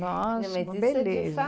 Nossa, uma beleza.